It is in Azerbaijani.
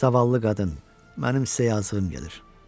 Zavallı qadın, mənim sizə yazığım gəlir.